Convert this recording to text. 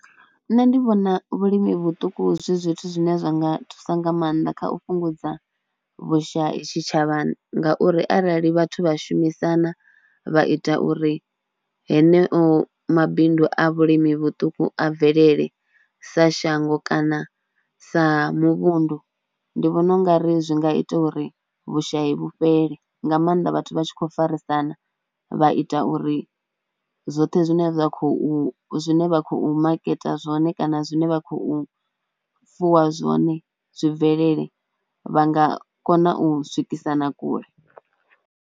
Nṋe ndi vhona vhulimi vhuṱuku zwi zwithu zwine zwa nga thusa nga maanḓa kha u fhungudza vhushai tshitshavhani ngauri arali vhathu vha shumisana vha ita uri heneyo mabindu a vhulimi vhuṱuku a bvelele sa shango kana sa muvhundu ndi vhona u nga ri zwi nga ita uri vhushayi vhu fhele, nga maanḓa vhathu vha tshi khou farisana vha ita uri zwoṱhe zwine zwa khou zwine vha khou maketa zwone kana zwine vha khou fuwa zwone zwi bvelele vha nga kona u swikisana kule.